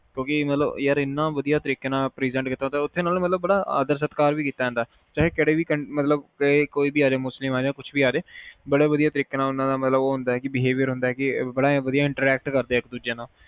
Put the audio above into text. ਕਿਉਂਕਿ ਉਹ ਮਤਲਬ ਇਨ੍ਹੇ ਵਧੀਆ ਤਰੀਕੇ ਨਾਲ present ਕੀਤਾ ਹੁੰਦਾ ਹਾਂ ਉਥੇ ਨਾ ਬੜਾ ਆਦਰ ਸਤਿਕਾਰ ਕੀਤਾ ਜਾਂਦਾ ਹੈ ਚਾਹੇ ਕੋਈ ਵੀ ਆ ਰਿਹਾ ਹੋਵੇ ਮੁਸਲਿਮ ਆਰੇ ਕੁਛ ਵੀ ਆ ਰੇ ਬਹੁਤ ਵਧੀਆ ਤਰੀਕੇ ਨਾਲ behaviour ਹੁੰਦਾ ਹੈ, ਬੜਾ ਵਧੀਆ interact ਕਰਦਾ ਹੈਂ